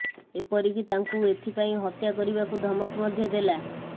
ଏପରିକି ତାଙ୍କୁ ଏଥିପାଇଁ ହତ୍ୟା କରିବାକୁ ଧମକ ମଧ୍ୟ ଦେଲା